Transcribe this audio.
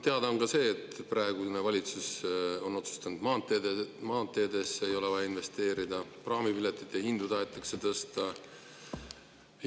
Teada on ka see, et praegune valitsus on otsustanud, et maanteedesse ei ole vaja investeerida, ja praamipiletite hindu tahetakse tõsta.